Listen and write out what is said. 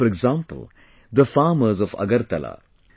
Take for example, the farmers of Agartala